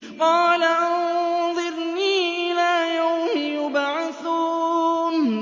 قَالَ أَنظِرْنِي إِلَىٰ يَوْمِ يُبْعَثُونَ